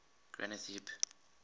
granth hib